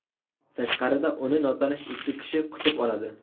Tashqarida uni notanish ikki kishi kutib oladi.